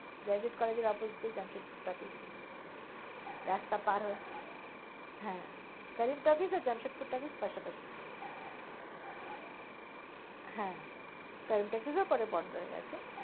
Gazette college র opposite এ Jamshedpur talkies রাস্তা পার হয় হ্যাঁ কারিম talkies আর জামশেদপুর talkies পাশাপাশি ছিল। হ্যাঁ কারিম talkies ও পরে বন্ধ হয়ে গেছে।